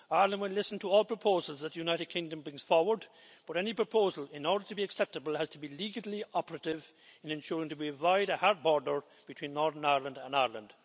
Ireland will listen to all proposals that the United Kingdom brings forward, but any proposal, in order to be acceptable, has to be legally operative and ensure that we avoid a hard border between Northern Ireland and Ireland.